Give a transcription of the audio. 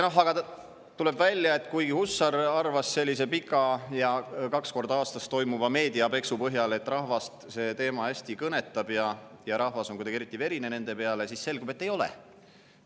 Aga kuigi Hussar arvas sellise pika ja kaks korda aastas toimuva meediapeksu põhjal, et rahvast see teema hästi kõnetab ja rahvas on kuidagi eriti verine nende peale, tuleb välja, et see nii ei ole.